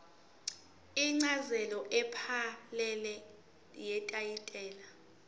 incazelo ephelele yetayitela